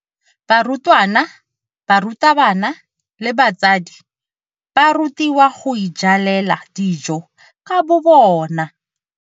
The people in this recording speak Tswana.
Barutwana, barutabana le batsadi ba rutiwa go ijalela dijo ka bobona.